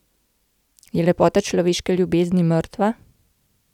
Je lepota človeške ljubezni mrtva?